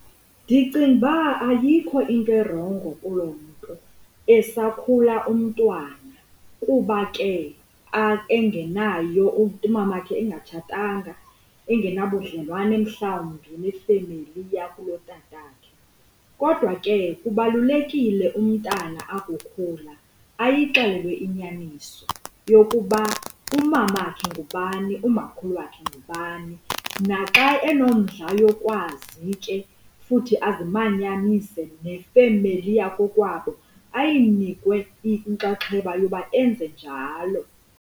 Ndicinga uba ayikho into erongo kuloo nto esakhula umntwana kuba ke engenayo umamakhe engatshatanga engenabudlelwane mhlawumbi nefemeli yakulotatakhe. Kodwa ke kubalulekile umntana akukhula ayixelelwe inyaniso yokuba umamakhe ngubani, umakhulu wakhe ngubani, naxa enomdla yokukwazi ke futhi azimanyanise nefemeli yakokwabo ayinikwe inkxaxheba yoba enze njalo.